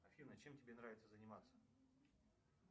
афина чем тебе нравится заниматься